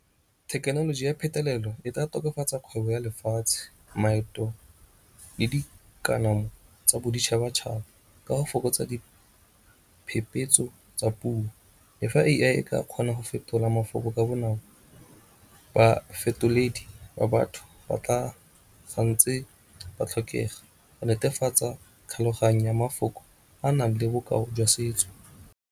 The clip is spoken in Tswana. Thekenoloji ya phetolelo e ka tokafatsa kgwebo ya lefatshe, maeto le dikanamo tsa boditšhabatšhaba ka go fokotsa diphepetso tsa puo. Le fa A_I e ka kgona go fetola mafoko ka bonako bafetoledi ba batho ba tla santse ba tlhokega go netefatsa tlhaloganya ya mafoko a nang le bokao jwa setso.